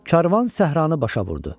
Karvan səhranı başa vurdu